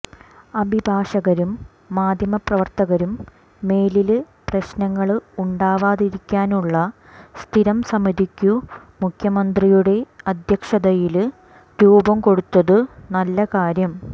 അഭിഭാഷകരും മാധ്യമപ്രവര്ത്തകരും മേലില് പ്രശ്നങ്ങള് ഉണ്ടാവാതിരിക്കാനുള്ള സ്ഥിരംസമിതിക്കു മുഖ്യമന്ത്രിയുടെ അധ്യക്ഷതയില് രൂപംകൊടുത്തതു നല്ലകാര്യം